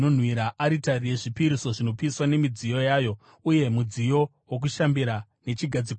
aritari yezvipiriso zvinopiswa nemidziyo yayo, uye mudziyo wokushambira nechigadziko chawo.